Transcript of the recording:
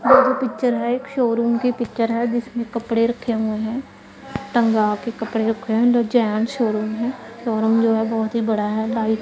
ओ जो पिक्चर है एक शोरूम की पिक्चर है जिसमें कपड़े रखे हुए हैं टंगा के कपड़े रखे हैं अंदर जेंट्स शोरूम हैं शोरूम जो है बहुत ही बड़ा है डाई--